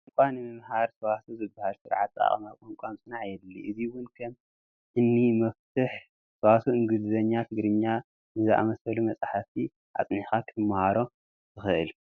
ቋንቋ ንምምሃር ሰዋስው ዝበሃል ስርዓት ኣጠቓቕማ ቋንቋ ምፅናዕ የድሊ፡፡ እዚ እውን ከም እኒ መፍቱሕ ሰዋስው እንግሊዝኛ ትግርኛ ንዝኣምሰሉ መፃፍቲ ኣፅኒዕኻ ክትመሃሮ ትኽእል፡፡